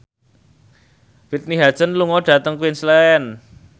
Whitney Houston lunga dhateng Queensland